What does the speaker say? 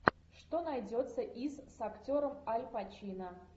что найдется из с актером аль пачино